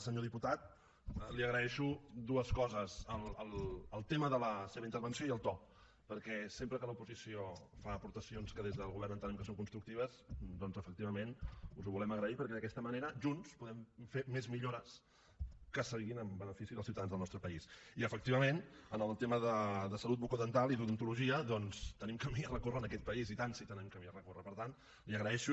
senyor diputat li agraeixo dues coses el tema de la seva intervenció i el to perquè sempre que l’oposició fa aportacions que des del govern entenem que són constructives doncs efectivament us ho volem agrair perquè d’aquesta manera junts podem fer més millores que siguin en benefici dels ciutadans del nostre país i efectivament en el tema de salut bucodental i d’odontologia doncs tenim camí a recórrer en aquest país i tant si tenen camí a recórrer per tant li ho agraeixo